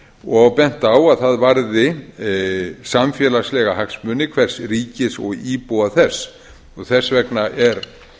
og bent á að það varði samfélagslega hagsmuni hvers ríkis og íbúa þess þess vegna er